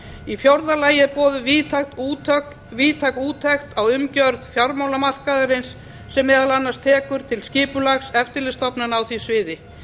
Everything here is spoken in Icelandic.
í fjórða lagi er boðuð víðtæk úttekt á umgjörð fjármálamarkaðarins sem meðal annars tekur til skipulags eftirlitsstofnana á því sviði